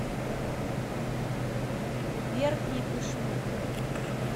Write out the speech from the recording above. верхней пышмы